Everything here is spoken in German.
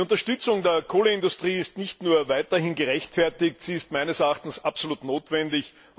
Die Unterstützung der Kohleindustrie ist nicht nur weiterhin gerechtfertigt, sie ist meines Erachtens absolut notwendig.